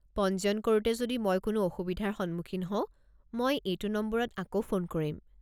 পঞ্জীয়ন কৰোতে যদি মই কোনো অসুবিধাৰ সন্মুখীন হওঁ, মই এইটো নম্বৰত আকৌ ফোন কৰিম।